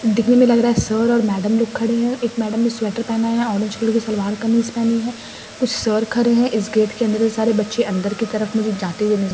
देखने में लग रहा है सर और मैडम लोग खड़े हैं एक मैडम ने स्वेटर पहना है ऑरेंज कलर की सलवार कमीज पहनी है कुछ सर खड़े हैं इस गेट के अंदर सारे बच्चे अंदर की तरफ मुझे जाते हुए नज़र --